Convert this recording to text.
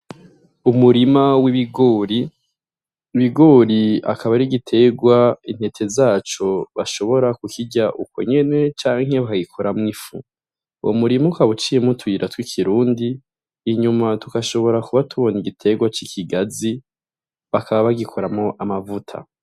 Umurima w'ibigori, ibigori akaba ar'igitegwa intete zaco bashobora ku kirya uko nyene canke bakagikoramwo ifu, uwo murima ukaba uciyemwo utuyira tw'ikirundi, inyuma tugashobora kuba tubona igitegwa c'ikigazi bakaba bagikoramwo amavuta.